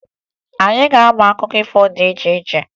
Anyị ga-amụ akụkọ ifo dị iche iche